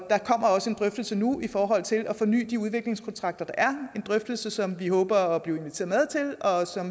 også en drøftelse nu i forhold til at forny de udviklingskontrakter der er en drøftelse som vi håber at blive inviteret med til og